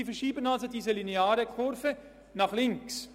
Sie verschieben also diese lineare Kurve nach links.